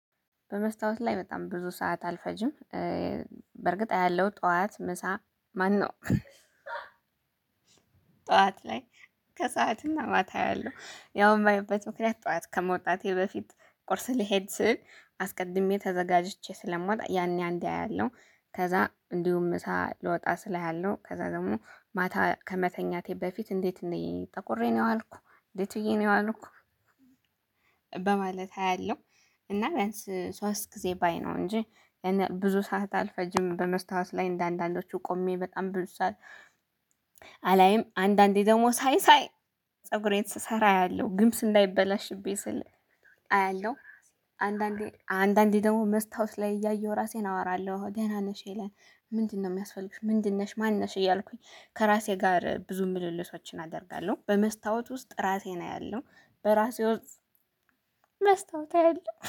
በመስታወት ላይ በጣም ብዙ ሰዓት አልፈጅም። በርግጥ አያለሁ ጠዋት ምሳ ማነው? ጠዋት ላይ ከሰዓትና ማታ አያለሁ። ያው የማየበት ምክንያት ጠዋት ከመውጣቴ በፊት ቁርስ ልሄድ ስል አስቀድሜ ተዘጋጅቼ ስለምወጣ ያኔ አንዴ አያለሁ ከዛ እንዲሁም ምሳ ልወጣ ስል አያለሁ ከዛ ደግሞ ማታ ከመተኛቴ በፊት እንዴት እንዴ ነኝ ጠቁሬ ነው የዋልኩ እንደት ብዬ ነው የዋልኩ። በማለት አያለሁ። እና ቢያንስ ሶስት ጊዜ ባይ ነው እንጂ ብዙ ሰዓት አልፈጅም። በመስታወት ላይ እንደ አንዳንዶቹ ቆሜ በጣም ብዙ ሰዓት አላይም። አንዳንዴ ደግሞ ሳይ ሳይ ፀጉሬን ስሰራ አያለሁ ግምስ እንዳይበላሽብኝ ስል አያለሁ። አንዳንዴ አንዳንዴ ደግሞ መስታወት ላይ እያየሁ ራሴን አወራለሁ ደህና ነሽ ሀለን ምንድነው የሚያስፈልግሽ ምንድነሽ ማንነሽ እያልኩኝ ከራሴ ጋር ብዙ ምልልሶችን አደርጋለሁ። በመስታወት ውስጥ ራሴን አያለሁ በራሴ ውስጥ መስታወት አያለሁ